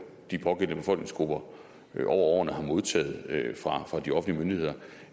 de pågældende befolkningsgrupper over årene har modtaget fra de offentlige myndigheder